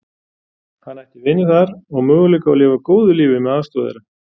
Hann ætti vini þar og möguleika á að lifa góðu lífi með aðstoð þeirra.